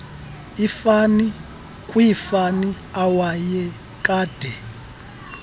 ifani kwiifani awayekade